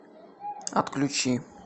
отключи